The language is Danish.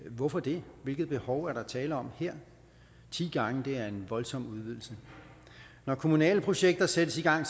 hvorfor det hvilke behov er der tale om her ti gange er en voldsom udvidelse når kommunale projekter sættes i gang